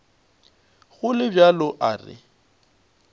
go le bjalo a re